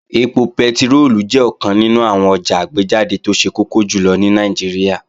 Ẹpo pẹtiróòlù jẹ́ ọ̀kan nínú àwọn ọjà àgbéjáde tó ṣe kókó jùlọ ní Nàìjíríà